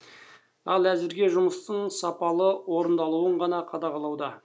ал әзірге жұмыстың сапалы орындалуын ғана қадағалауда